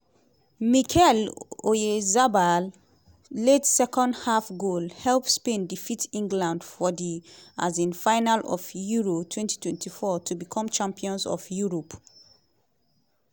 mikel oyarzabal late second half goal help spain defeat england for di um final of euro 2024 to become champions of europe.